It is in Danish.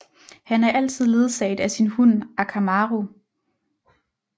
Han er altid ledsaget af sin hund Akamaru